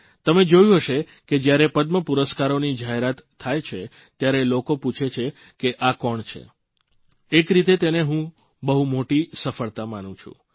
તમે જોયું હશે કે જયારે પદ્મપુરસ્કારોની જાહેરાત થાય છે ત્યારે લોકો પૂછે છે કે આ કોણ છે એક રીતે તેને હું બહુ મોટી સફળતા માનું છું